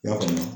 I y'a faamuya